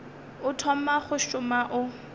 o thoma go šoma o